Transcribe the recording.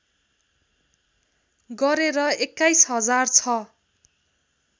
गरेर २१ हजार ६